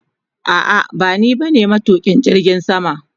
A'a bani ba ne matukin jirgin sama.